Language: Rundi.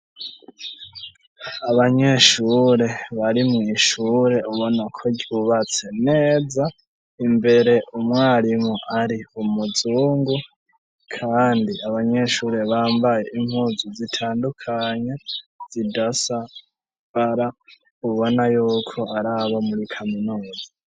abanyeshurebari mw'ishure ubona ko ryubatse neza imbere umwarimu ari umuzungu kandi abanyeshure bambaye impuzu zitandukanye zidasabara ubona yuko araba muri kaminuzi.